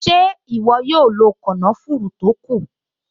Ṣé ìwọ yóò lo kànáfùrù tó kù?